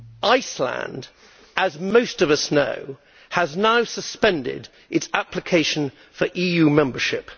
Iceland, as most of us know, has now suspended its application for EU Membership.